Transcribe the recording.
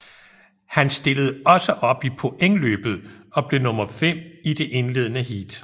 Han stillede også op i pointløbet og blev nummer fem i det indledende heat